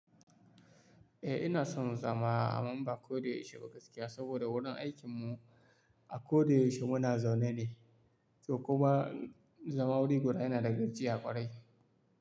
Eh ina son zama a Mamba kodaya ishe ba gaskiya saboda wurin aikinmu a kodaya ishe muna zaune ne, toh kuma zama wuri guda yana da gajiya ƙwarai.